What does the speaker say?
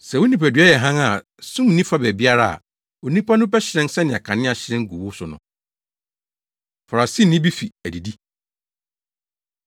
Sɛ wo nipadua yɛ hann a sum nni fa baabiara a, onipadua no bɛhyerɛn sɛnea kanea hyerɛn gu wo so no.” Farisini Bi Fi Adidi